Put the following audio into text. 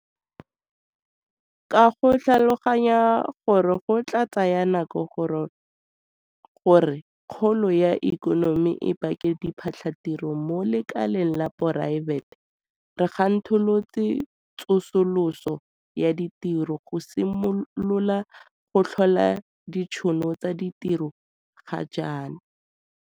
Ka go tlhaloganya gore go tla tsaya nako gore kgolo ya ikonomi e bake diphatlhatiro mo lekaleng la poraefete, re thankgolotse tsosoloso ya ditiro go simolola go tlhola ditšhono tsa ditiro ga jaana.